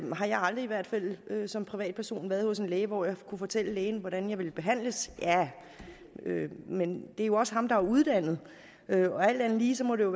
har jeg aldrig i hvert fald som privatperson været hos en læge hvor jeg kunne fortælle lægen hvordan jeg ville behandles men det er jo også lægen der er uddannet og alt andet lige må det